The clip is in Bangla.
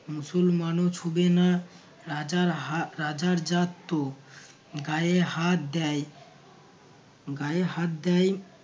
মুসলমানও ছুঁবে না রাজার হা~ রাজার জাত তো গায়ে হাত দেয় গায়ে হাত দেয়